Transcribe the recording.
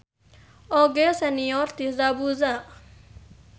Oge senior ti Zabuza.